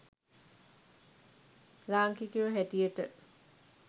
ලාංකිකයො හැටියට.